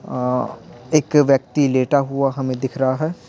अ एक व्यक्ति लेटा हुआ हमें दिख रहा है।